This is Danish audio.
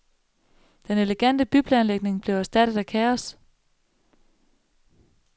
Den elegante byplanlægning blev erstattet af kaos.